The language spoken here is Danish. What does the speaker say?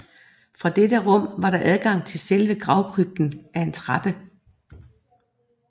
Fra dette rum var der adgang til selve gravkrypten ad en trappe